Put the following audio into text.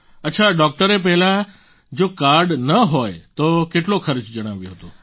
અચ્છા ડોક્ટરે પહેલા જો કાર્ડ ન હોય તો કેટલો ખર્ચો જણાવ્યો હતો